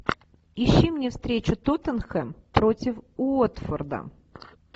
ищи мне встречу тоттенхэм против уотфорда